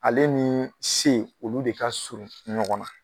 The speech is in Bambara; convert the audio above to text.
Ale nii C olu de ka surun ɲɔgɔn na.